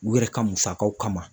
U yɛrɛ ka musakaw kama